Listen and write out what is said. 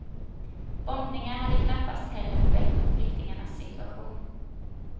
Bombningar hade knappast heller förbättrat flyktingarnas situation.